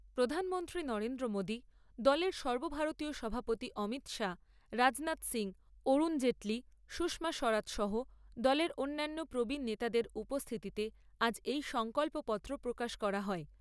প্রধানমন্ত্রী নরেন্দ্র মোদী, দলের সর্বভারতীয় সভাপতি অমিত শাহ, রাজনাথ সিংহ, অরুণ জেটলি, সুষমা স্বরাজ সহ দলের অন্যান্য প্রবীণ নেতাদের উপস্থিতিতে আজ এই সংকল্পপত্র প্রকাশ করা হয়।